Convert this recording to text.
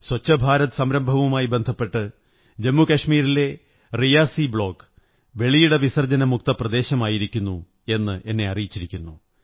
സ്വച്ഛഭാരത് സംരംഭവുമായി ബന്ധപ്പെട്ട് ജമ്മുകശ്മീരിലെ റിയാസി ബ്ലോക് വെളിയിട വിസര്ജ്ജപന മുക്ത പ്രദേശമായിരിക്കുന്നു എന്ന് എന്നെ അറിയിച്ചിരിക്കുന്നു